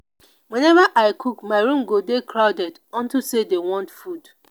whenever i cook my room go dey crowded unto say dey want food